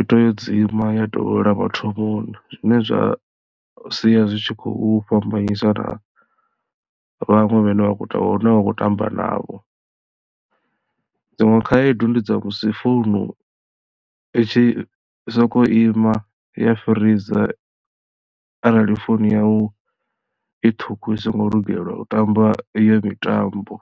i to yo dzima ya dovholola mathomoni zwine zwa sia zwi tshi khou fhambanyisa na vhaṅwe vhane vha khou hune vha kho tamba navho dziṅwe khaedu ndi dza musi founu i tshi sokou ima ya freezor arali founu yau i ṱhukhu i songo lugelwa u tamba iyo mitambo.